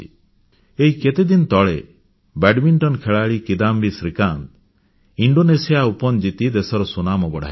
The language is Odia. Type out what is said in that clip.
ଏହି କେତେଦିନ ତଳେ ବ୍ୟାଡ଼ମିଂଟନ ଖେଳାଳି କିଦାମ୍ବି ଶ୍ରୀକାନ୍ତ ଇଣ୍ଡୋନେସିଆ ଓପନ ଜିତି ଦେଶର ସୁନାମ ବଢ଼ାଇଛନ୍ତି